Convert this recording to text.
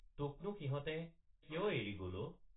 তোকনো সিহঁতে কিয় এৰি গল অ?